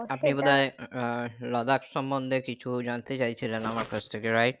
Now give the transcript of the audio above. আপনি বোধহয় আহ লাদাখ সমন্ধে কিছু জানতে চাইছিলেন আমার কাছ থেকে right